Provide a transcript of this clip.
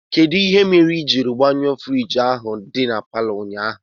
Kedụ ihe mere ijiri gbanyuo fruidge ahụ dị n'paló ụnyaahụ?